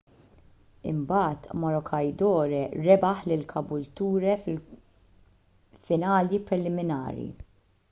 imbagħad maroochydore rebaħ lil caboolture fil-finali preliminari